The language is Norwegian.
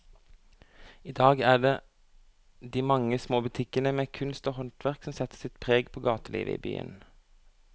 I dag er det de mange små butikkene med kunst og håndverk som setter sitt preg på gatelivet i byen.